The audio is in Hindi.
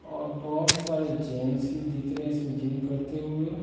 और बहुत सारे जेंट्स भी दिख रहे हैं इसमें जिम करते हुए।